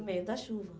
No meio da chuva.